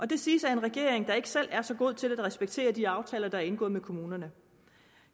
det siges af en regering der ikke selv er så god til at respektere de aftaler der er indgået med kommunerne